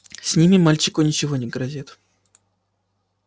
с ними мальчику ничего не грозит